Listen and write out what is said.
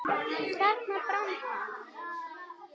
Þarna brann hann.